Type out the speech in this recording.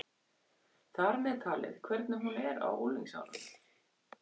Þar með talið hvernig hún er á unglingsárunum.